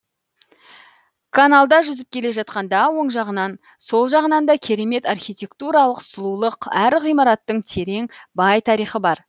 каналда жүзіп келе жатқанда оң жағынан сол жағынан да керемет архитектуралық сұлулық әр ғимараттың терең бай тарихы бар